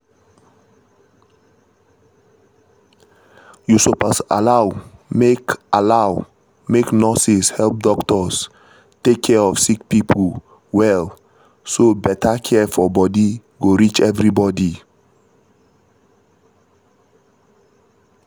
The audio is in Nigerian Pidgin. you suppose allow make allow make nurses help doctors take care of sick pipo well so better care for body go reach everybody